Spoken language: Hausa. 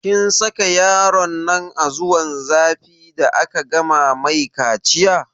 Kin sa yaronnan a zuwan zafi da aka gama mai kaciya?